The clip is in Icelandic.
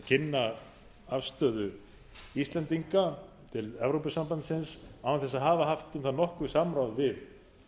kynna afstöðu íslendinga til evrópusambandsins án þess að hafa haft um það nokkurt samráð við